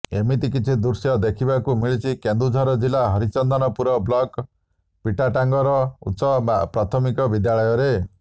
ଏମିତି କିଛି ଦୃଶ୍ୟ ଦେଖିବାକୁ ମିଳିଛି କେନ୍ଦୁଝର ଜିଲ୍ଲା ହରିଚନ୍ଦନପୁର ବ୍ଲକ୍ ପିଟାଟାଙ୍ଗର ଉଚ୍ଚ ପ୍ରାଥମିକ ବିଦ୍ୟାଳୟରେ